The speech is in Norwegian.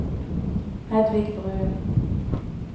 Hedvig Bruun